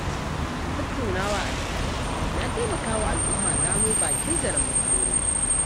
Tattunawa a tsakani na taimaka wa al'umma gano bakin zaren matsalolinta.